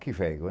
Que véio hein